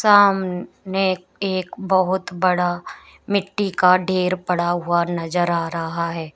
सामने एक बहोत बड़ा मिट्टी का ढेर पड़ा हुआ नजर आ रहा है।